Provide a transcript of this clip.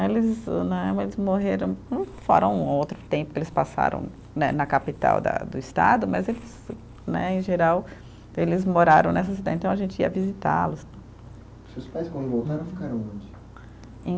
Eles né, eles morreram, fora um outro tempo que eles passaram né, na capital da do estado, mas eles né, em geral, eles moraram nessa cidade, então a gente ia visitá-los. Seus pais quando voltaram ficaram onde? Em